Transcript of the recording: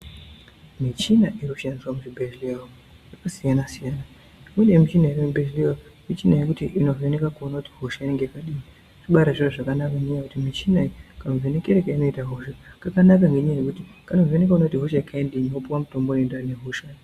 Muchina inoshandiswa muzvibhedhlera umu inosiyana siyana kune muchina yemuzvibhedhlera umu inovheneka kuona kuti hosha inenge yakadini zvibari zviro zvakanaka ngekuti muchina iyi kamuvhenekero kaunoita hosha kkanaka ngenyaya yekuti kanovheneka kuona kuti ihosha yekaindiyi wopuwa mutombo unoenderana nehosha Yako.